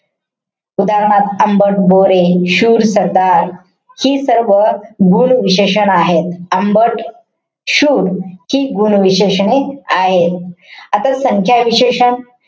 उदाहरणार्थ आंबट बोरे. शूर सरदार. हि सर्व गुण विशेषण आहेत. आंबट, शूर हि गुण विशेषणे आहे. आता संख्या विशेषण,